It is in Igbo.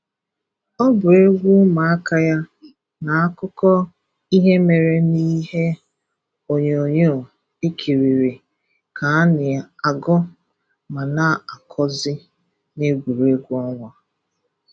Ọ bụ egwu ụmụaka ya na akụkọ ihe mere n’ihe ọnyonyoo e kiriri ka a na-agụ ma na akọzị n'egwuregwu ọnwa.